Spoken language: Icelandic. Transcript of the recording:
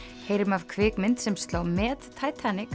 heyrum af kvikmynd sem sló met